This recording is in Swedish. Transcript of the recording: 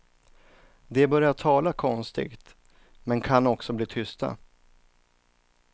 De börjar tala konstigt men kan också bli tysta.